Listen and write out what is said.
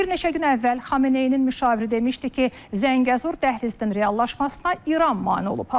Bir neçə gün əvvəl Xameneyinin müşaviri demişdi ki, Zəngəzur dəhlizinin reallaşmasına İran mane olub.